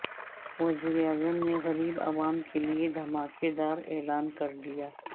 وزیراعظم نے غریب عوام کیلئے دھماکے دار اعلان کردیا